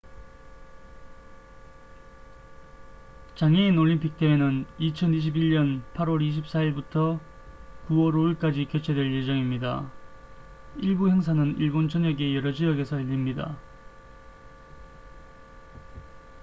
장애인 올림픽 대회는 2021년 8월 24일부터 9월 5일까지 개최될 예정입니다 일부 행사는 일본 전역의 여러 지역에서 열립니다